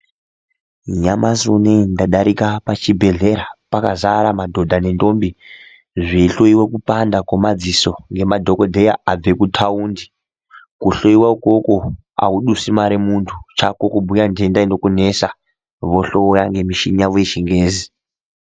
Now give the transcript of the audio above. Nyamashi unowo ndadarika pachibhehlera pakadzara madhodha nendombi zveihloiwe kupanda kwemadziso ngemadhokodheya abve kutaundi kuhloiwa ukoko audusi mare muntu chako kubhuya nhenda inokunesa vohloya ngemichini yavo yechingezi.